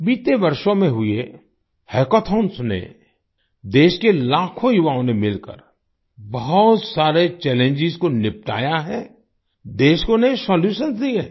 बीते वर्षों में हुई एक हैकॉथॉंन्स ने देश के लाखों युवाओं ने मिलकर बहुत सारे चैलेंज को निपटाया है देश को नए सोल्यूशन दिए हैं